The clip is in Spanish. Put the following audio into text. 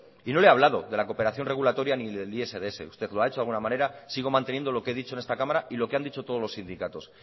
y no le he hablado de la cooperación regulatoria ni del isds usted lo ha hecho de alguna manera sigo manteniendo lo que he dicho en esta cámara y lo que han dicho todos los sindicatos